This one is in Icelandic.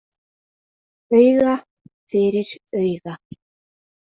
Auga fyrir auga.